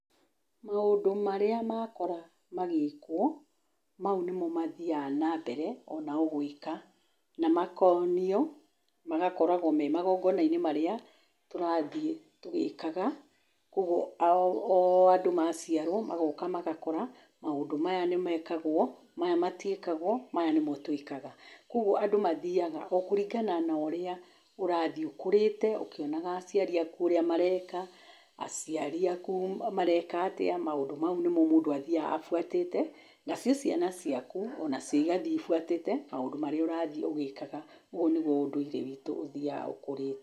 Maũndũ marĩa makora magĩkwo, mau nĩmo mathiaga na mbere onao gwĩka na makonio, magakoragwo me magongona-inĩ marĩa tũrathiĩ tũgĩkaga. Kuoguo o andũ magaciarwo, magoka magakora, maũndũ maya nĩmekagwo, maya matiĩkagwo, maya nĩmo twĩkaga. Kuoguo andũ mathiaga, o kũringana na ũrĩa ũrathiĩ ũkũrĩte ũkĩonaga aciari aku ũrĩa mareka, aciaria aku mareka atĩa, maũndũ mau nĩmo mũndũ athiaga abuatĩte, nacio ciana caiku ona cio igathiĩ ibuatĩte maũndũ marĩa ũrathiĩ ũgĩkaga. Ũguo nĩguo ũndũire witũ ũthiaga ũkũrĩte.